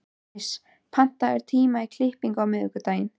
Kris, pantaðu tíma í klippingu á miðvikudaginn.